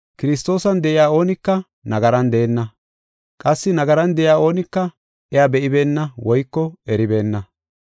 Kiristoosan de7iya oonika nagaran deenna. Qassi nagaran de7iya oonika iya be7ibeenna woyko eribeenna.